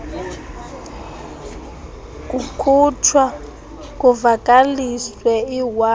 kukhutshwa kuvakaliswe iwaka